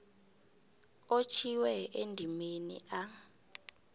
otjhwiwe endimeni a